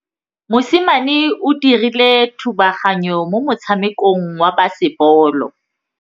Mosimane o dirile thubaganyô mo motshamekong wa basebôlô.